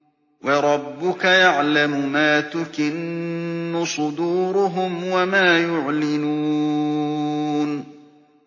وَرَبُّكَ يَعْلَمُ مَا تُكِنُّ صُدُورُهُمْ وَمَا يُعْلِنُونَ